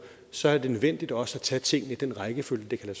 så er det nødvendigt også at tage tingene i den rækkefølge det kan